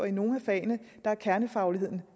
i nogle af fagene er kernefagligheden